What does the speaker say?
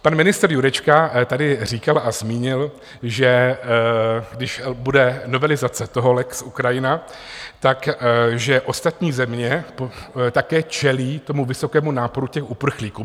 Pan ministr Jurečka tady říkal a zmínil, že když bude novelizace toho lex Ukrajina, tak že ostatní země také čelí tomu vysokému náporu těch uprchlíků.